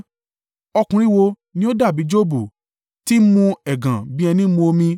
Ọkùnrin wo ni ó dàbí Jobu, tí ń mu ẹ̀gàn bí ẹní mú omi?